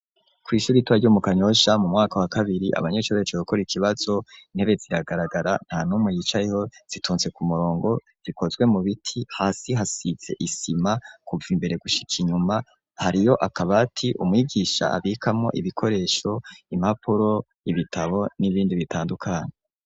Kw'ishure ritoya ryo mu Kanyosha mu mwaka wa kabiri abanyeshure baje gukora ikibazo, intebe ziragaragara nta numwe yicayeho zitonze ku murongo zikozwe mu biti, hasi hasize isima kuva imbere gushika inyuma hariyo akabati umwigisha abikamo ibikoresho, impapuro, ibitabo, n'ibindi bitandukanye.